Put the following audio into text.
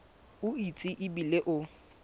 o itse e bile o